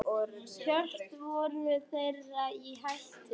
Hjörtur: Voru þeir í hættu?